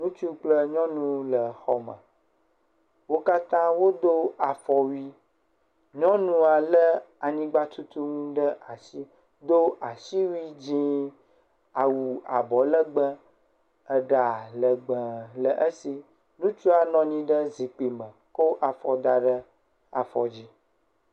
Ŋutsu kple nyɔnu le xɔme, wo katã wodo afɔwui, nyɔnua lé anyigba tutu nu ɖe asi do asiwui dzɛ̃ awu abɔ legbee, eɖa legbee le esi, ŋutsua nɔ anyi ɖe zikpui me ko afɔ da ɖe afɔ dzi.